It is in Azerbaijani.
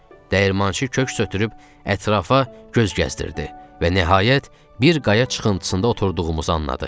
Dəyirmançı köks ötürüb ətrafa göz gəzdirdi və nəhayət, bir qaya çıxıntısında oturduğumuzu anladı.